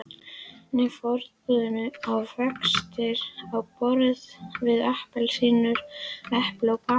Nei, forboðnir ávextir á borð við appelsínur, epli og banana.